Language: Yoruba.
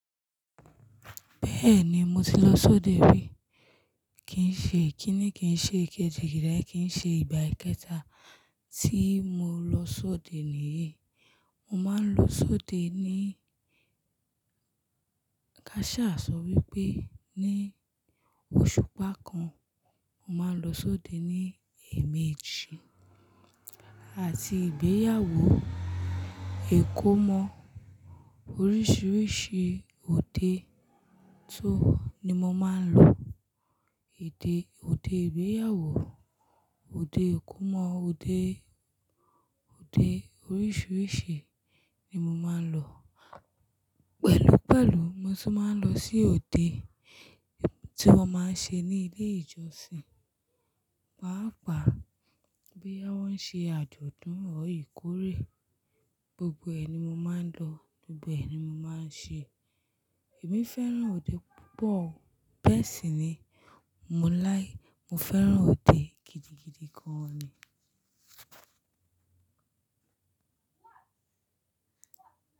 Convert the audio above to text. Bẹ́ẹ̀ni, mo ti lọ sọ́de rí. Kìí ṣe kíni kìí ṣe kejì, ìdáì kìí ṣe ìgbà kẹta tí mo lọ sọ́de níyii. Mo máa ń lọ sọ́de ní káṣà sọ wípé ní oṣù pa kan. Mo máa ń lọ sọ́de ní ẹ̀mẹ́jì àti ìgbéyàwó, ìkómọ oríṣiríṣi òde só ní mo máa ń lọ. Odè, òde ìgbéyàwó, òde ìkómọ, òde, òde oríṣiríṣi ni mo máa ń lọ. Pẹ̀lú pẹ̀lú mo sì máa ń lọ sí òde tí wọ́n máa ń ṣe ní ilé ìjọsìn. Pàápàá ìgbéyàwó ń ṣe àjọ̀dún, Ọ̀ íkórè gbogbo ẹ̀ ni mo máa ń lọ, gbogbo ẹ̀ ni mo máa ń ṣe. Èmi fẹ́ràn òde púpọ̀, bẹ́ẹ̀ sì ni mo láíki, mo fẹ́ràn òde gidigidi gan ni.